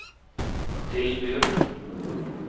tilbyr